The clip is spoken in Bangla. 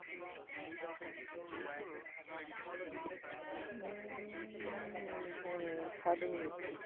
উহ হম ষাট mintes তো